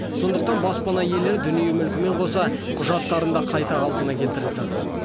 сондықтан баспана иелері дүние мүлкімен қоса құжаттарын да қайта қалпына келтіріп жатыр